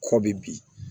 Kɔ bɛ bin